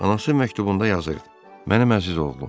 Anası məktubunda yazırdı: Mənəm əziz oğlum.